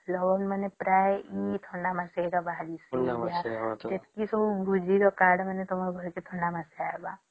ପ୍ରାୟେ ଏଇ ଥଣ୍ଡା ମାସ ରେ ହିଁ ବାହାରେ ଯେତେ ବି ତମର ଭୋଜି ର କାର୍ଡ ମାନେ ଥିବା ଏଇ ଥଣ୍ଡା ମାସରେ ହେଇବା